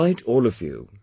I invite all of you